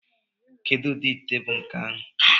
Kedu ụdị ite bụ nke ahụ?